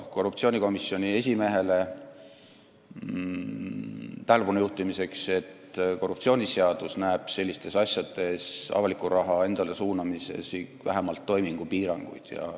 Korruptsioonivastase komisjoni esimehele ütlen tähelepanu juhtimiseks, et korruptsioonivastane seadus näeb sellistes asjades, avaliku raha endale suunamises, ette vähemalt toimingupiiranguid.